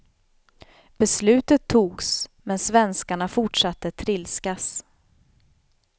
Beslutet togs, men svenskarna fortsatte trilskas.